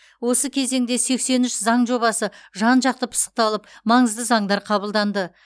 осы кезеңде сексен үш заң жобасы жан жақты пысықталып маңызды заңдар қабылданды